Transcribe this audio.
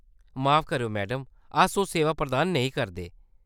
माफ करेओ, मैडम। अस ओह्‌‌ सेवा प्रदान नेईं करदे ।